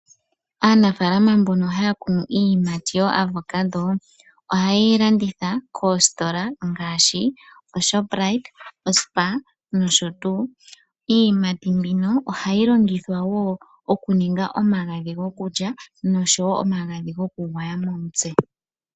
Aanafaalama mbono haya kunu iiyimati yoavoccado, ohaye yi landitha koositola ngaashi oShoprite, oSpar nosho tuu. Iiyimati mbino ohayi longithwa wo okuninga omagadhi gokulya nosho wo omagadhi gokugwaya momutse.